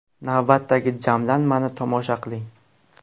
Navbatdagi jamlanmani tomosha qiling.